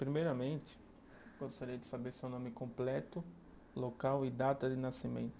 Primeiramente, gostaria de saber seu nome completo, local e data de nascimento.